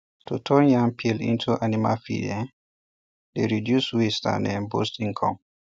to turn yam peel into animal feed um dey reduce waste and um boost income